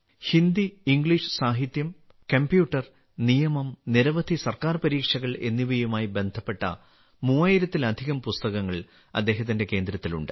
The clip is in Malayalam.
ഹിന്ദി ഇംഗ്ലീഷ് സാഹിത്യം കമ്പ്യൂട്ടർ നിയമം നിരവധി സർക്കാർ പരീക്ഷകൾ എന്നിവയുമായി ബന്ധപ്പെട്ട 3000ലധികം പുസ്തകങ്ങൾ അദ്ദേഹത്തിന്റെ കേന്ദ്രത്തിലുണ്ട്